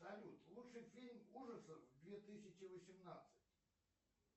салют лучший фильм ужасов две тысячи восемнадцать